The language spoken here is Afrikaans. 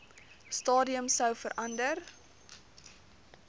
stadium sou verander